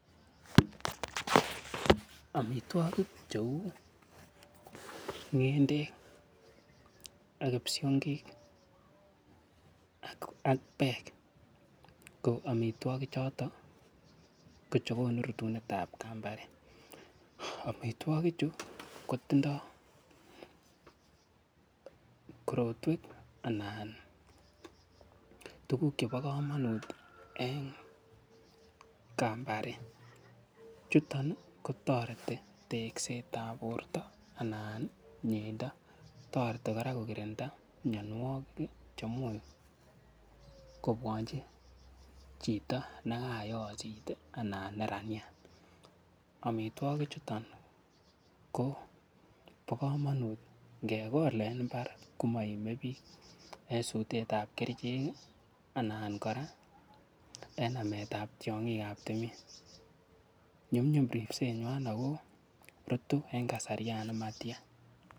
Amitwogik cheu ng'endek ak kipsongik ak peek ko amitwogichotok ko che konu rutunet ap kambare. Amitwogichu kotindai korotwek anan tuguuk chepo kamanut eng' kambare. Chuton ko tareti tekset ap porto anan mieindo. Tareti kora ko kirinda mianwagik che much kopwanchi chito ne kakoyochit anan neraniat. Amitwogichuto ko pa kamanut. Nge kol en imbar koma ime pich en sutet ap kerichek anan kora en namet ap tiang'ik ap timin. Nyumnyum ripsenwa ako rutu en kasarta ne matia.